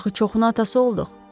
Axı çoxuna atası olduq.